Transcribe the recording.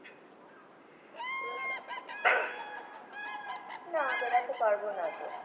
না বের হতে পারবো না তো।